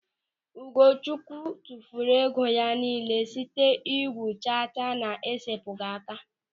Ugochukwu tụfuru ego ya nille site igwu chacha na-esepụghị aka.